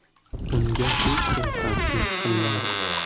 Unga hech kim tahdid qilmadi.